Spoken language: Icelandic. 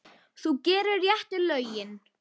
Þú gerir réttu lögin.